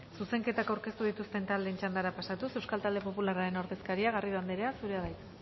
zuzenketak aurkeztu dituzten taldeen txandara pasatuz euskal talde popularraren ordezkaria garrido anderea zurea da hitza